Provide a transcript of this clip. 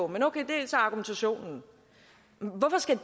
men okay det er så argumentationen hvorfor skal